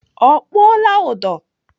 Ọ kpụọla ụdọ?